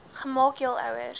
gemaak jul ouers